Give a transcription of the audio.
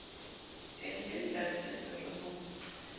e le la leteterre ho